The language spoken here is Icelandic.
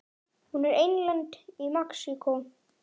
Hún er einlend í Mexíkó.